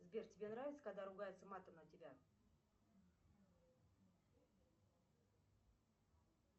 сбер тебе нравится когда ругаются матом на тебя